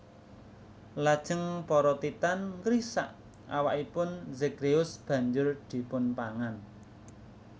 Lajeng para Titan ngrisak awakipun Zagreus banjur dipunpangan